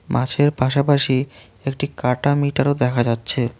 মাছের পাশাপাশি একটি কাটা মিটারও দেখা যাচ্ছে।